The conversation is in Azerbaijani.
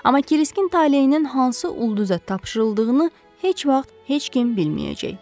Amma Kiriskin taleyinin hansı ulduza tapşırıldığını heç vaxt heç kim bilməyəcək.